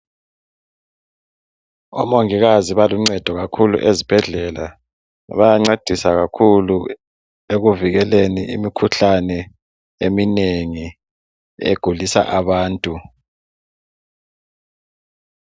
Omungikazi baluncedo kakhulu esibhedlela. Bayancedisa kakhulu ekuvikeleni imikhuhlane eminengi egulisa abantu .